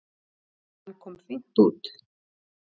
Hann kom fínt út.